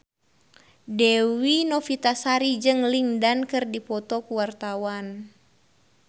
Dewi Novitasari jeung Lin Dan keur dipoto ku wartawan